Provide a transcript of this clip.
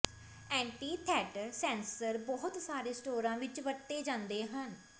anti ਥੈਟਰ sensor ਬਹੁਤ ਸਾਰੇ ਸਟੋਰਾਂ ਵਿੱਚ ਵਰਤੇ ਜਾਂਦੇ ਹਨ